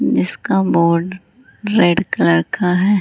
जिसका board red colour का है।